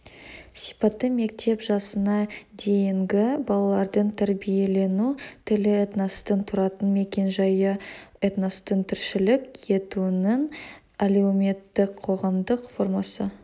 сипаты мектеп жасына дейінгі балалардың тәрбиелену тілі этностың тұратын мекен-жайы этностың тіршілік етуінің әлеуметтікқоғамдық формасы